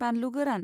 बानलु गोरान